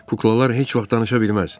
Kuklalar heç vaxt danışa bilməz.